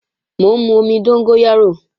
Mò ń mú omi dóngóyárò